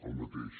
el mateix